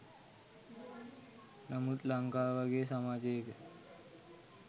නමුත් ලංකාව වගේ සමාජයක